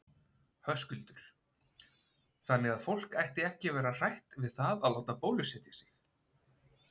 Höskuldur: Þannig að fólk ætti ekki að vera hrætt við það að láta bólusetja sig?